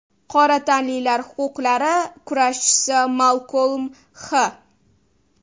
Qora tanlilar huquqlari kurashchisi Malkolm X.